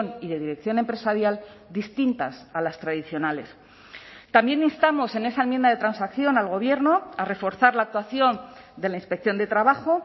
y de dirección empresarial distintas a las tradicionales también instamos en esa enmienda de transacción al gobierno a reforzar la actuación de la inspección de trabajo